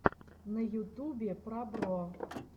на ютубе пробро